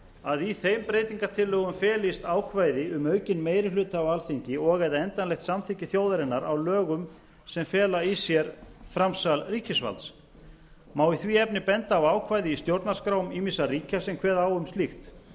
að í þeim breytingartillögum felist ákvæði um aukinn meiri hluta á alþingi og eða endanlegt samþykki þjóðarinnar á lögum sem fela í sér framsal ríkisvalds má í því efni benda á ákvæði í stjórnarskrám ýmissa ríkja sem kveða á um slíkt